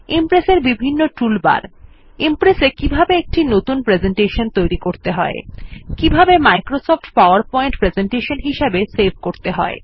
Impress এর বিভিন্ন toolbar Impress এ কিভাবে কতুন প্রেসেন্টেশন তৈরী করতে হয় কিভাবে Microsoft PowerPoint presentation save করতে হয়